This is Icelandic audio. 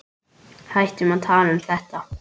Hættum að tala um þetta.